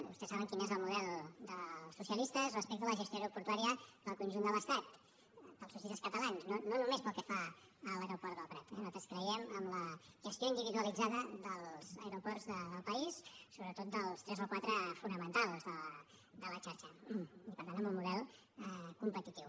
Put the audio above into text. vostès saben quin és el model dels socialistes respecte a la gestió aeroportuària del conjunt de l’estat dels socialistes catalans no només pel que fa a l’aeroport del prat eh nosaltres creiem en la gestió individualitzada dels aeroports del país sobretot dels tres o quatre fonamentals de la xarxa per tant en un model competitiu